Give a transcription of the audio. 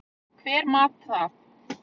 Hver mat það?